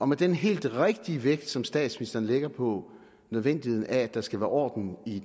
med den helt rigtige vægt som statsministeren lægger på nødvendigheden af at der skal være orden i